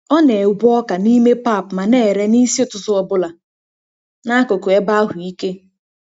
Ọ na-egwe ọka n'ime pap ma na-ere n'isi ụtụtụ ọ bụla n'akụkụ ebe ahụ ike.